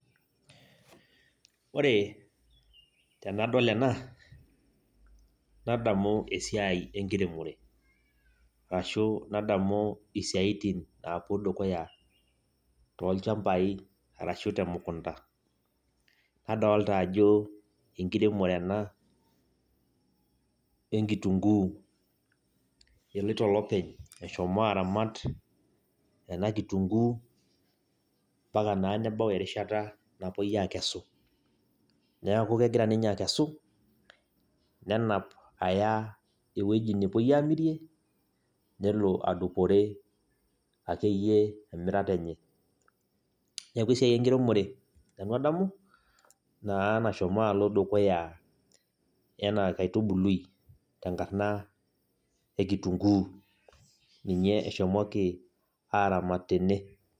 Ore tenadol ena nadamu esiai enkiremore ashuu nadamu isiatin naapuo dukuya tolchambai ashuu temukunda nadolita ajo enkiremore ena enkitunkuu eshomo aramat ena kitunkuu mbaka naa nebau erishata nepuoi aakesu neeku kegira ninye akesu nenap aya ewueji nepuoi aamirie nelo adupore akeyie emirata enye neeku esiai enkiremore nanu adamu naa nashomo alo dukuya enaa enkaitubului tenkarna e kitunkuu ninye eshomoki aaramat tene.